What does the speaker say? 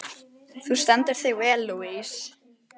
Þú stendur þig vel, Louise!